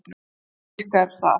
Og hvernig virkar það?